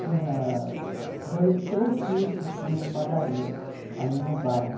Tinha dois três tios que tinham padaria ali no bairro.